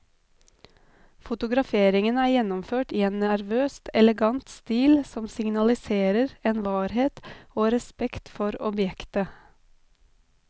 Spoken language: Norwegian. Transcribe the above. Fotograferingen er gjennomført i en nervøst elegant stil som signaliserer en varhet og respekt for objektet.